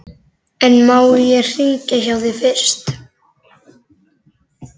En má ég hringja hjá þér fyrst?